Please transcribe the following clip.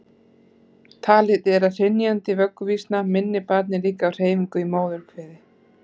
talið er að hrynjandi vögguvísna minni barnið líka á hreyfinguna í móðurkviði